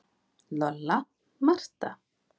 Lolla, Marta